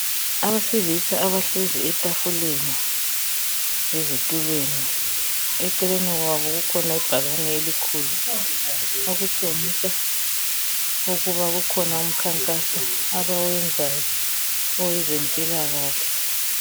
Abesilisa abahlezi etafuleni ezitulweni eceleni kwabo kukhona ibhakane elikhulu elitshengisa ukuba kukhona umkhankaso abewenzayo owezempilakahle.